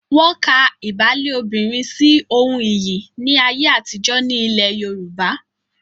Wọ́n ka ìbálé obìnrin sí ohun iyì ní ayé àtijọ́ ní ilẹ̀ Yorùbá.